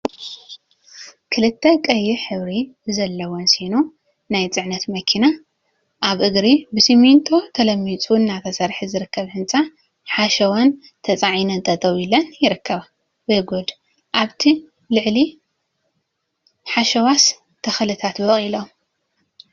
ክልተ ቀይሕ ሕብሪ ዘለወን ሲኖ ናይ ፅዕነት መኪና አብ እግሪ ብስሚንቶ ተለሚፁ እናተሰርሐ ዝርከብ ህንፃ ሓሸዋን ተፃዒነን ጠጠወ ኢለን ይርከባ፡፡ ወይ ጉድ! አብቲ ልዕሊ ሓሸዋስ ተክሊታት በቍሎም፡፡